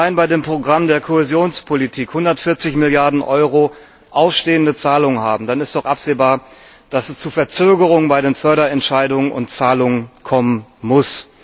Wenn wir allein bei dem Programm der Kohäsionspolitik 140 Milliarden Euro ausstehende Zahlungen haben, dann ist doch absehbar, dass es zu Verzögerungen bei den Förderentscheidungen und Zahlungen kommen muss.